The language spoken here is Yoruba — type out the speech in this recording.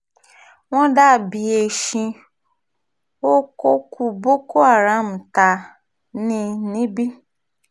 wọ́n dà bíi eéṣín ó kọkú boko haram tá a ní níbí